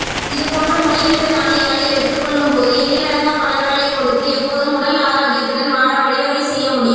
இதுபோன்று முளைவிட்ட தானியங்களை எடுத்துக் கொள்ளும்போது எண்ணிலடங்கா பலன்களைக் கொடுத்து எப்போதும் உடல் ஆரோக்கியத்துடன் வாழ வழிவகை செய்ய முடியும்